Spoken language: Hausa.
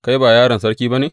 Kai ba yaron sarki ba ne?